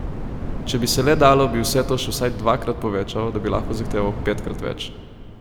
Če bi se le dalo, bi vse to še vsaj dvakrat povečal, da bi lahko zahteval petkrat več.